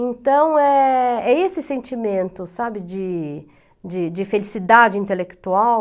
Então, é é esse sentimento, sabe, de de de felicidade intelectual.